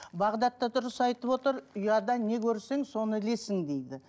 бағдат да дұрыс айтып отыр ұяда не көрсең соны ілесің дейді